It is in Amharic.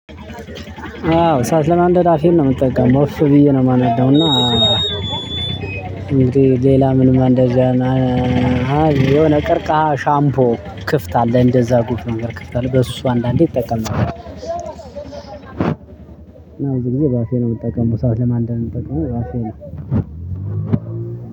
አዎ እሳት ለማንደድ አፌን ነው የምጠቀመው እፍ ብዬ ነው የማናደውና። እና እንግዲህ ሌላ ምንም ማንደጃ እና የሆነ ቀርቃሃ ሻምፖ ክፍት አለ እንደዛ ጎሽ ነገር ክፍት አለ በሱ አንዳንዴ እጠቀማለሁ ነው። እና በዚህ ጊዜ በአፌ ነው የምጠቀመው እሳት ለማንደድ የምጠቀመው በአፌ ነው።